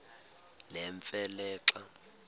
nemfe le xa